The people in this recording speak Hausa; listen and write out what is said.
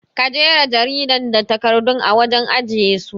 Ka jera jaridan da takardun a wajen ajiye su